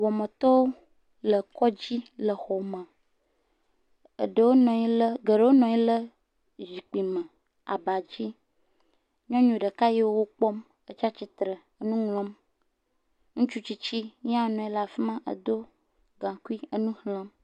Wɔametɔwo le kɔdzi le xɔ me, eɖewo nɔ anyi le geɖewo nɔ anyi le zikpuime, abadzi, nyɔnu ɖeka le wò kpɔm he tsi atsitre nu ŋlɔm ŋutsu tsitsi ye ha nɔ anyi ɖe afima he do gakui le nu xlem